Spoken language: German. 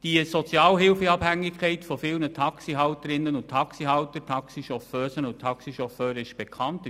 Die Sozialhilfeabhängigkeit vieler Taxihalterinnen und Taxihalter, Taxichauffeusen und Taxichauffeuren ist bekannt.